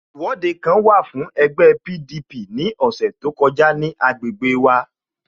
Ìwọ́de kan wà fún ẹgbẹ́ PDP ní ọ̀sẹ̀ tó kọjá ní agbègbè mj